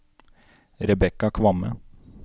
Rebecca Kvamme